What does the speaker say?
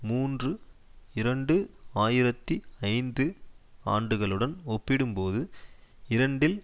மூன்று இரண்டு ஆயிரத்தி ஐந்து ஆண்டுகளுடன் ஒப்பிடும்போது இரண்டில்